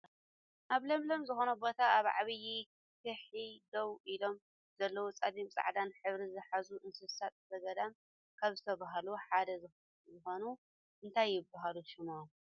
ኣብ ለምለም ዝኮነ ቦታ ኣብ ዓብየ ኩሒ ደው ኢሎም ዘለው ፀሊም ፃዕዳን ሕብሪ ዝሓዙ እንስሳ ዘገዳም ካብ ዝብሃሉሓደ ዝኮኑ እንታይ ይብሃሉ ሽሞም?